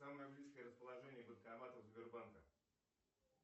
самое близкое расположение банкоматов сбербанка